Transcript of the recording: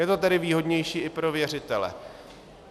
Je to tedy výhodnější i pro věřitele.